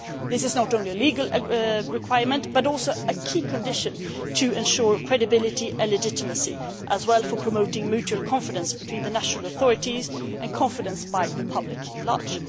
This is not only a legal requirement but also a key condition to ensuring credibility and legitimacy as well as for promoting mutual confidence between the national authorities, and confidence among the public at large.